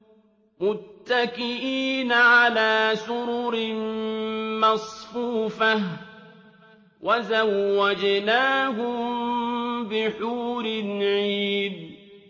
مُتَّكِئِينَ عَلَىٰ سُرُرٍ مَّصْفُوفَةٍ ۖ وَزَوَّجْنَاهُم بِحُورٍ عِينٍ